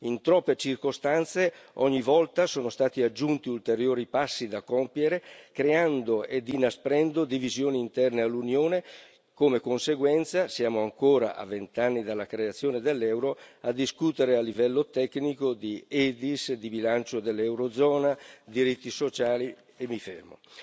In troppe circostanze, ogni volta, sono stati aggiunti ulteriori passi da compiere, creando ed inasprendo divisioni interne all'Unione, come conseguenza, siamo ancora, a vent'anni dalla creazione dell'euro, a discutere a livello tecnico di Edis, di bilancio dell'Eurozona, diritti sociali e mi fermo.